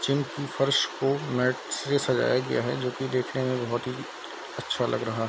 क्यूंकि फर्श को लाइट से सजाया गया है जो की देखने में बहोत ही अच्छा लग रहा --